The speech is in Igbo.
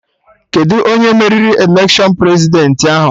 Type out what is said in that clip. Kedụ onye meriri election Prezidentị ahụ?